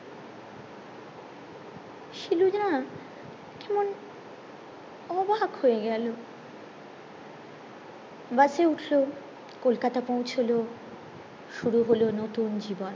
শিলু যা কেমন অবাক হয়ে গেলো বসে উঠলো কলকাতা পৌছালো শুরু হলো নতুন জীবন